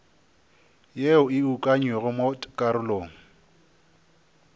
ye e ukangwego mo karolong